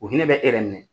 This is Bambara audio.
O hinɛ bɛ e yɛrɛ minɛ